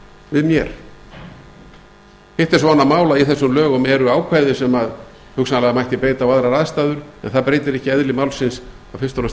við mér hitt er svo annað mál að í þessum lögum eru ákvæði sem hugsanlega mætti beita á aðrar aðstæður en það breytir ekki eðli málsins að fyrst